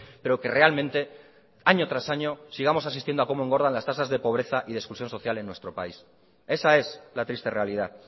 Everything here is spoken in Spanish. pero que realmente año tras año sigamos asistiendo a cómo engordan las tasas de pobreza y de exclusión social en nuestro país esa es la triste realidad